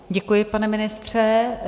Děkuji, pane ministře.